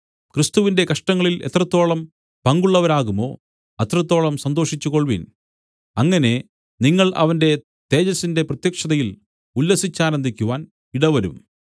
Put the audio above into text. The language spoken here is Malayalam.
ക്രിസ്തുവിന്റെ കഷ്ടങ്ങളിൽ എത്രത്തോളം പങ്കുള്ളവരാകുമോ അത്രത്തോളം സന്തോഷിച്ചു കൊൾവിൻ അങ്ങനെ നിങ്ങൾ അവന്റെ തേജസ്സിന്റെ പ്രത്യക്ഷതയിൽ ഉല്ലസിച്ചാനന്ദിക്കുവാൻ ഇടവരും